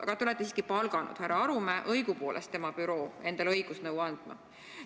Aga te siiski palkasite härra Arumäe, õigupoolest tema büroo endale õigusnõu andma.